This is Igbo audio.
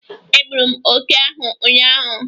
Egburu m ókè ahụ ụnyaahụ!